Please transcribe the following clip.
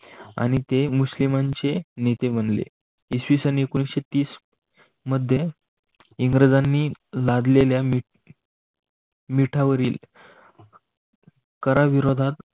आणि ते मुस्लिमांचे नेते म्हणले इसवी सन एकोणविससेतीस मध्ये इंग्रजांनी लादलेल्या मिठावरील करा विरोधात